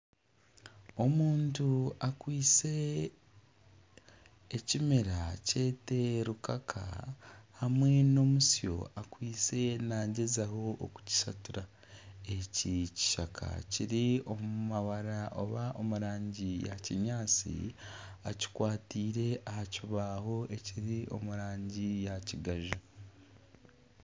Omuntu akwaitse ekimera kyete rukaka hamwe nana omutsyo ariyo naagyezaho kukishatura, eki kishaka kiri omu mabara oba omu rangi ya kinyaatsi ekikwataire aha kibaho ekiri omu rangi ya kigaju